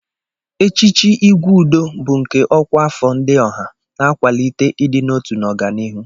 Echichi Igwe Udo bụ nke ọkwa afọ Ndi Oha, na-akwalite ịdị n'otu n'ọganihu.